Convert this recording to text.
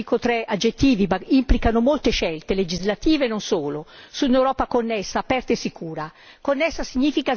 Dobbiamo puntare quindi io dico tre aggettivi, ma implicano molte scelte legislative e non solo su un'Europa connessa, aperta e sicura.